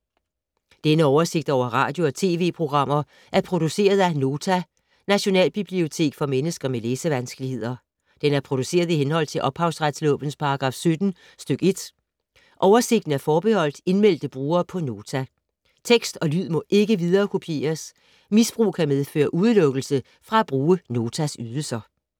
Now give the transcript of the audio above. Denne oversigt over radio og TV-programmer er produceret af Nota, Nationalbibliotek for mennesker med læsevanskeligheder. Den er produceret i henhold til ophavsretslovens paragraf 17 stk. 1. Oversigten er forbeholdt indmeldte brugere på Nota. Tekst og lyd må ikke viderekopieres. Misbrug kan medføre udelukkelse fra at bruge Notas ydelser.